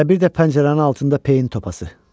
Və bir də pəncərənin altında peyin topası.